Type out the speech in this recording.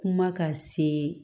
Kuma ka se